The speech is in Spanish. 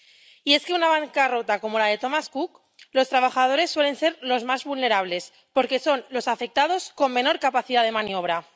Y es que en una bancarrota como la de Thomas Cook, los trabajadores suelen ser los más vulnerables, porque son los afectados con menor capacidad de maniobra.